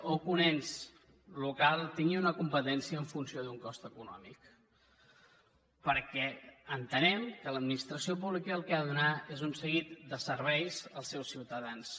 o que un ens local tingui una competència en funció d’un cost econòmic perquè entenem que l’administració pública el que ha de donar és un seguit de serveis als seus ciutadans